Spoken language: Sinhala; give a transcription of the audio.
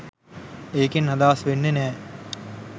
ඒකෙන් අදහස් වෙන්නෙ නෑ